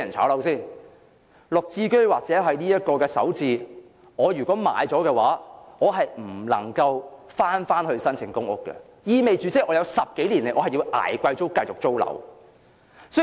不論是"綠置居"或"首置"，現時如果市民買入單位，他便不能夠再申請公屋，意味着接下來10多年他也要繼續"捱貴租"租樓。